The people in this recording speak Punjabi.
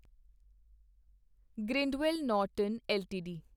Grindwell Norton LTD